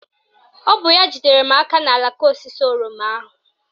Ọ bụ ya jidere m aka n'alaka osisi oroma ahụ